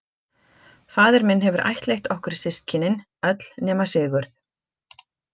Faðir minn hefur ættleitt okkur systkinin öll nema Sigurð.